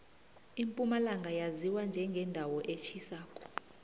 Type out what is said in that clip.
impumalanga yaziwa njengendawo etjhisako